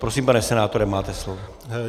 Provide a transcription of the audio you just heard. Prosím, pane senátore, máte slovo.